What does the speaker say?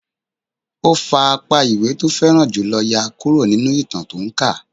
Ó fa apá ìwé tó fẹ́ràn jù lọ yá kúrò nínú ìtàn tó ń kà